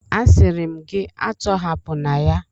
Asịrị m gị a tọhapụna ya!